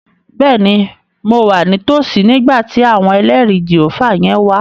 Bẹ́ẹ̀ni, mo wà ní tòsí nígbà tí àwọn ẹlẹrìí Jèhófà yẹn wá